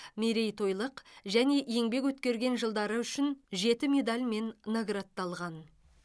мерейтойлық және еңбек өткерген жылдары үшін жеті медальмен наградталған